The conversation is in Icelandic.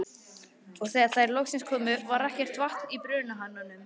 Og þegar þær loksins komu, var ekkert vatn í brunahananum.